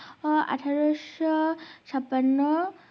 আহ আঠারোশো ছাপান্ন